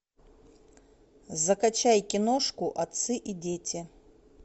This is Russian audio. закачай киношку отцы и дети